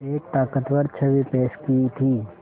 एक ताक़तवर छवि पेश की थी